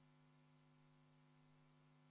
Võtan veel kord juhatuse vaheaja.